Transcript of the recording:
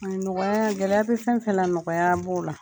A nɔgɔya , gɛlɛya bi fɛn fɛn la nɔgɔya b'o la.